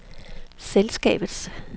selskabets